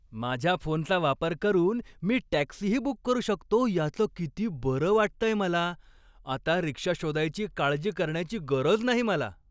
माझ्या फोनचा वापर करून मी टॅक्सीही बुक करू शकतो याचं किती बरं वाटतंय मला. आता रिक्षा शोधायची काळजी करण्याची गरज नाही मला.